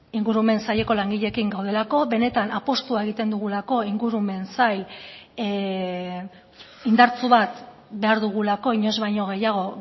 ingurumen saileko langileekin gaudelako benetan apustua egiten dugulako ingurumen sail indartsu bat behar dugulako inoiz baino gehiago